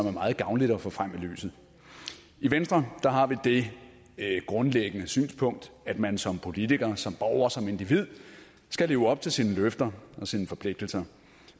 er meget gavnligt at få frem i lyset i venstre har vi det grundlæggende synspunkt at man som politiker som borger som individ skal leve op til sine løfter og sine forpligtelser